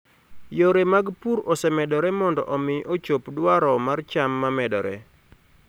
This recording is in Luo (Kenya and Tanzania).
Yore mag pur osemedore mondo omi ochop dwaro mar cham ma medore.